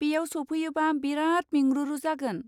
बेयाव सफैयोबा बेराद मेंरुरु जागोन।